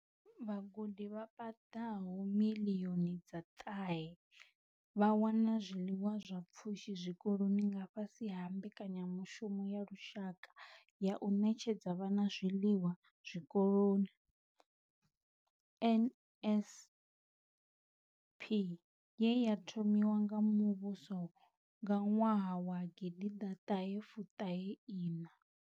Vhagudi vha paḓaho miḽioni dza ṱahe vha wana zwiḽiwa zwa pfushi zwikoloni nga fhasi ha Mbekanyamushumo ya Lushaka ya u Ṋetshedza Vhana Zwiḽiwa Zwikoloni NSNP ye ya thomiwa nga muvhuso nga ṅwaha wa 1994.